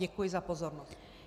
Děkuji za pozornost.